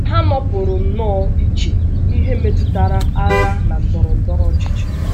Ha nọpụrụ nnọọ iche n’ihe metụtara agha na ndọrọ ndọrọ ọchịchị.